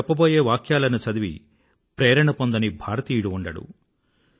ఈ క్రింది వాక్యాలను చదివి ప్రేరణ పొందని భారతీయుడు ఉండడు